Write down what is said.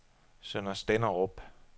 Sønder Stenderup